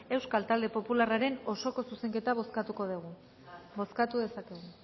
euskal talde popularraren osoko zuzenketa bozkatuko dugu bozkatu dezakegu